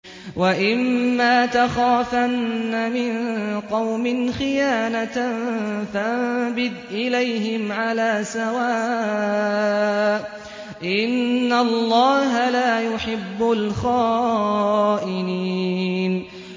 وَإِمَّا تَخَافَنَّ مِن قَوْمٍ خِيَانَةً فَانبِذْ إِلَيْهِمْ عَلَىٰ سَوَاءٍ ۚ إِنَّ اللَّهَ لَا يُحِبُّ الْخَائِنِينَ